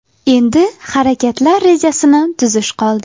Endi harakatlar rejasini tuzish qoldi.